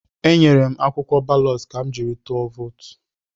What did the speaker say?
Enyere m akwụkwọ balọt ka m jiri tụọ vootu.